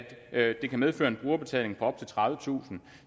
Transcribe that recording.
at det kan medføre en brugerbetaling på op til tredivetusind